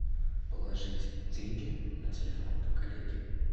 положить деньги на телефон коллеге